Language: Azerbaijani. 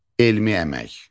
Elmi əmək.